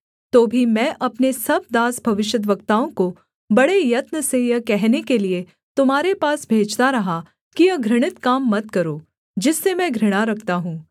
तो भी मैं अपने सब दास भविष्यद्वक्ताओं को बड़े यत्न से यह कहने के लिये तुम्हारे पास भेजता रहा कि यह घृणित काम मत करो जिससे मैं घृणा रखता हूँ